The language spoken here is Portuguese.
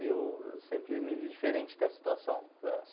E eu sempre me vi diferente dessa situação.